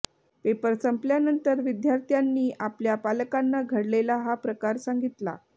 paper संपल्यानंतर विद्यार्थ्यांनी आपल्या पालकांना घडलेला हा प्रकार सांगितला